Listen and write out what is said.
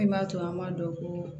Min b'a to an b'a dɔn ko